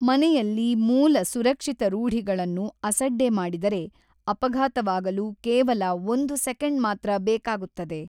ಮನೆಯಲ್ಲಿ ಮೂಲ ಸುರಕ್ಷಿತ ರೂಢಿಗಳನ್ನು ಅಸಡ್ಡೆ ಮಾಡಿದರೆ ಅಪಘಾತವಾಗಲು ಕೇವಲ ಒಂದು ಸೆಕೆಂಡ್ ಮಾತ್ರ ಬೇಕಾಗುತ್ತದೆ.